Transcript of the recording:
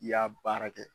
I y'a baara kɛ